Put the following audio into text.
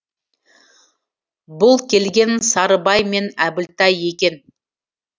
бұл келген сарыбай мен әбілтай екен